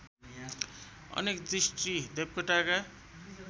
अनेक दृष्टि देवकोटाका